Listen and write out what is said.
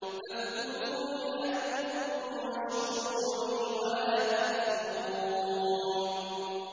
فَاذْكُرُونِي أَذْكُرْكُمْ وَاشْكُرُوا لِي وَلَا تَكْفُرُونِ